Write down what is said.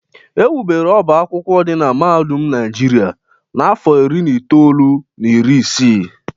Ewubere ọbá akwụkwọ dị na Mahadum Naijiria n’afọ iri na itoolu na iri isii.